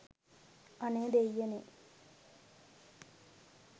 අනේ දේයියනේ